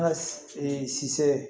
An ka si se